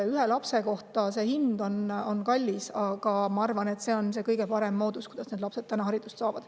Ühe lapse kohta on see hind kallis, aga ma arvan, et see on nendele lastele praegu kõige parem moodus haridust saada.